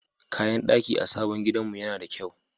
Kayan daki a sabon gidanmu yana da kyau.